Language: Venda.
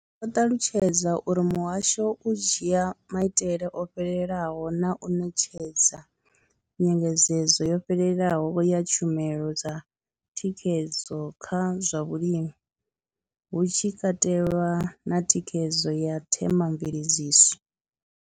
Vho ṱalutshedza uri muhasho u dzhia maitele o fhelelaho na u ṋetshedza nyengedzedzo yo fhelelaho ya tshumelo dza thikhedzo kha zwa vhulimi, hu tshi katelwa na thikhedzo ya themamveledziso.